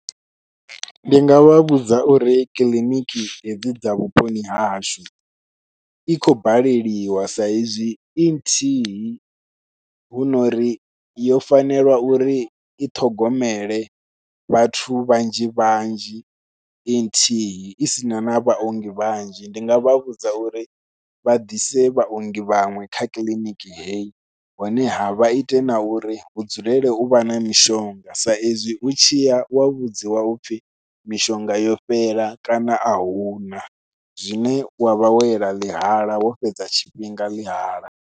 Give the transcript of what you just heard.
Ndi nga vha vhudza uri kiḽiniki hedzi dza vhuponi hahashu, i khou baleliwa sa izwi i nthihi hu nori yo fanelwa uri i ṱhogomele vhathu vhanzhi vhanzhi i nthihi i sina na vhaongi vhanzhi, ndi nga vha vhudza uri vha ḓise vhaongi vhaṅwe kha kiḽiniki heyi honeha vha ite na uri hu dzulele u vha na mishonga sa izwi u tshiya wa vhudziwa upfhi mishonga yo fhela kana ahuna zwine wa vha wo yela ḽihala wo fhedza tshifhinga ḽihala.